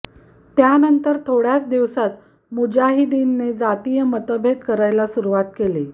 त्यानंतर थोड्याच दिवसांत मुजाहिदीनने जातीय मतभेद करायला सुरुवात केली